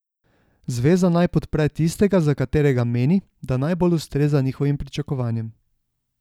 Zveza naj podpre tistega, za katerega meni, da najbolj ustreza njihovim pričakovanjem.